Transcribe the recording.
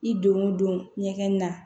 I don o don ɲɛgɛn na